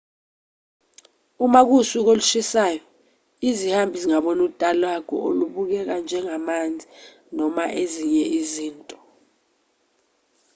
uma kuwusuku olushisayo izihambi zingabona utalagu olubukeka njengamanzi noma ezinye izinto